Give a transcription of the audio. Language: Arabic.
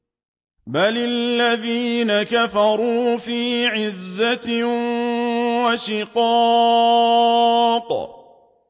بَلِ الَّذِينَ كَفَرُوا فِي عِزَّةٍ وَشِقَاقٍ